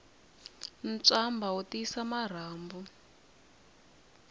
ntswamba wu tiyisa marhambu